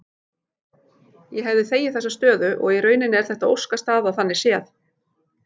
Ég hefði þegið þessa stöðu og í rauninni er þetta óskastaða þannig séð.